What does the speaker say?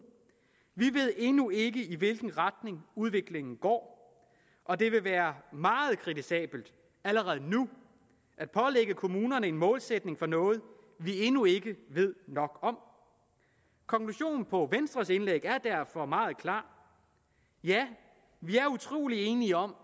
vi ved endnu ikke i hvilken retning udviklingen går og det vil være meget kritisabelt allerede nu at pålægge kommunerne en målsætning for noget vi endnu ikke ved nok om konklusionen på venstres indlæg er derfor meget klar ja vi er utrolig enige om